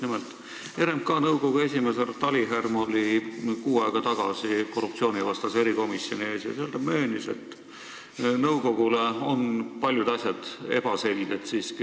Nimelt, RMK nõukogu esimees härra Talijärv oli kuu aega tagasi Riigikogu korruptsioonivastase erikomisjoni ees ja seal ta möönis, et nõukogule on paljud asjad siiski ebaselged.